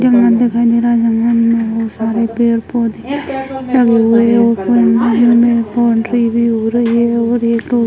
दिखाई दे रहा है में बहुत सारे पेड़ पौधे लगे हुए है